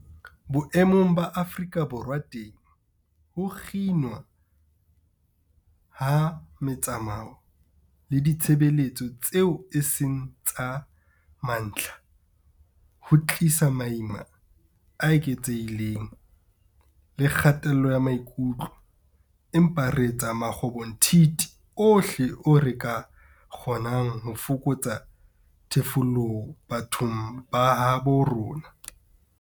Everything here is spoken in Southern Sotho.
Boemong ba Afrika Borwa teng, ho kginwa ha metsamao le ditshebeletso tseo e seng tsa mantlha ho tlisa maima a eketsehileng le kgatello ya maikutlo, empa re etsa makgobonthithi ohle ao re ka a kgonang ho fokotsa thefuleho bathong ba habo rona.